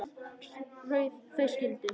Þau skildu.